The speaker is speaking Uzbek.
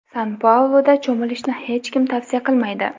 San-Pauluda cho‘milishni hech kim tavsiya qilmaydi.